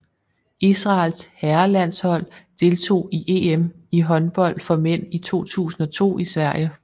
Israels herrelandshold deltog i EM i håndbold for mænd i 2002 i Sverige